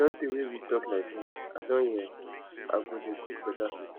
e don tey wey we talk like dis i don hear i go dey cook better soup